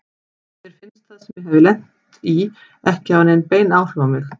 Mér fannst það sem ég hafði lent í ekki hafa haft nein áhrif á mig.